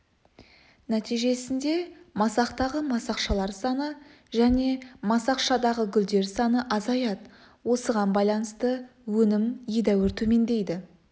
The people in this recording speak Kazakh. нәтижесінде масақтағы масақшалар саны және масақшадағы гүлдер саны азаяды осыған байланысты өнім едәуір төмендейді